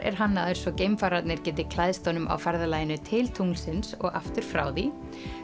er hannaður svo geimfararnir geti klæðst honum á ferðalaginu til tunglsins og aftur frá því